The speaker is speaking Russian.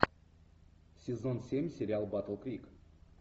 сезон семь сериал батл крик